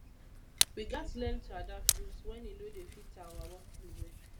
we gats learn to adapt rules wen e no dey fit our workflow well